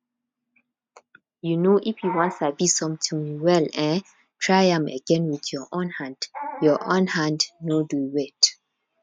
um if you wan sabi something well um try am again with your own hand your own hand no dey wait